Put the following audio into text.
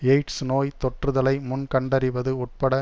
AIDS நோய் தொற்றுதலை முன் கண்டறிவது உட்பட